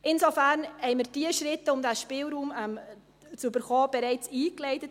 Insofern haben wir die Schritte, um diesen Spielraum zu bekommen, bereits eingeleitet.